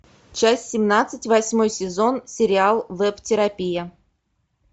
часть семнадцать восьмой сезон сериал веб терапия